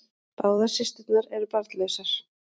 Báðar systurnar eru barnlausar